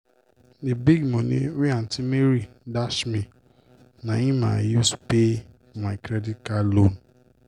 d big moni wey aunty mary dash me na im i use pay for my credit card loan.